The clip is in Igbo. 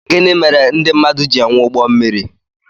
Gịnị mèrè ndị mmadụ jị enwè ụgbọ mmiri?